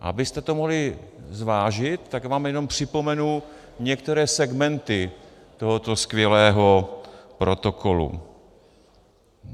Abyste to mohli zvážit, tak vám jenom připomenu některé segmenty tohoto skvělého protokolu.